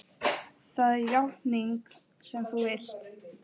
Það er játningin sem þú vilt.